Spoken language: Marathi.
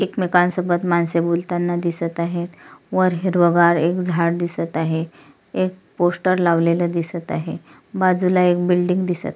एकमेकांसोबत माणसे बोलताना दिसत आहेत वर हिरवगार झाड दिसत आहे एक पोस्टर लावलेला दिसत आहे बाजूला एक बिल्डिंग दिसत--